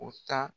U ta